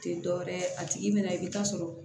Tɛ dɔ wɛrɛ ye a tigi bɛ na i bɛ taa sɔrɔ